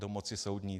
Do moci soudní.